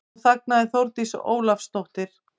Nú þagnaði Þórdís Ólafsdóttir.